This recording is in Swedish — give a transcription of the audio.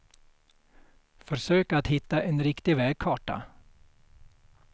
Försök att hitta en riktig vägkarta.